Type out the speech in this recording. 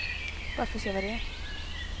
Bara för att se vad det är.